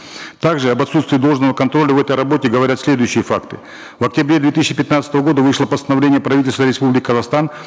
также об отстутствии должного контроля в этой работе говорят следующие факты в октябре две тысячи пятнадцатого года вышло постановление правительства республики казахстан